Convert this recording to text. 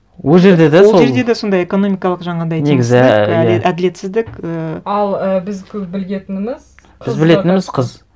ол жерде де сол ол жерде де сондай экономикалық жаңағындай теңсіздік негізі иә әділетсіздік ііі ал і біз көп білетініміз біз білетініміз қыз